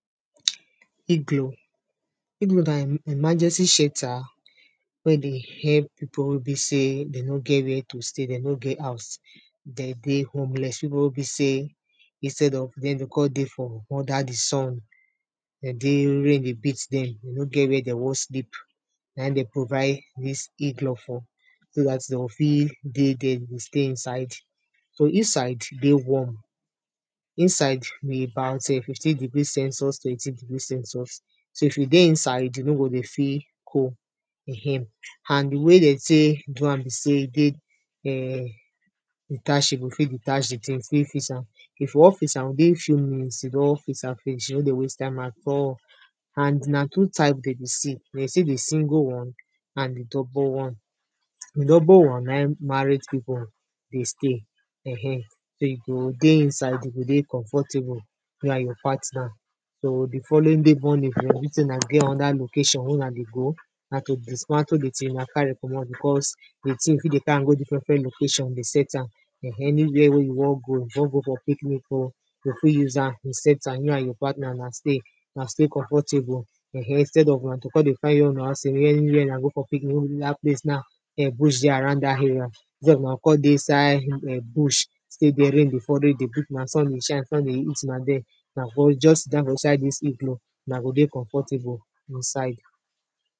igloo, igloo na emergency shelter wey dey help pipo wey be sey, dey no get where to stay, dey no get house, de dey homeless, pipo wey be sey, instead of dem, de con dey for under the sun, de dey rain dey beat dem, dey no get where dem wan sleep naim den provide, dis igloo for, so dat de go fit dey dere dey stay inside. so inside dey warm, inside be about um fifteen degree celsius to eighteen degree celsius, so if you dey inside, you no go dey feel cold um. and the way dem tey do am be sey, e dey err detachable, you fit detach the ting, you fit fix am. if you wan fix am, within few minutes, you don fix am finish, e no dey waste time at all. and na two type de dey see de dey see the single one, and the double one. the double one na in married people dey stay um. so you go dey inside, you go dey comfortable, you and your partner. so the following day morning, for everyting una get another location wey una dey go, na to dismantle the ting na carry comot because, the ting you fit dey carry am go different different location dey set am um, anywhere wey you wan go, you wan go for picnic o, yo fit use am, yo set am, you and your partner na stay, na stay comfortable um, instead of una to con dey find where una wan stay, where anywhere una go for picnic, wey dey do dat place na um, bush dey dat area, where una go con dey inside um bush. stay dere rain dey fall, rain dey beat una, sun dey shine sun dey heat una dere una go just sit down for inside dis igloo, na go dey comfortable inside.